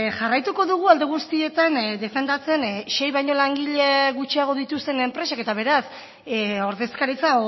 jarraituko dugu alde guztietan defendatzen sei baino langile gutxiago dituzten enpresek eta beraz ordezkaritza